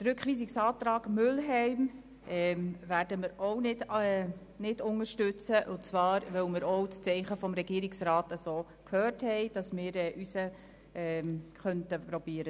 Den Rückweisungsantrag Mühlheim werden wir ebenfalls nicht unterstützen und zwar, weil wir seitens des Regierungsrats das Zeichen erhalten haben, wonach wir unseren Antrag durchbringen könnten.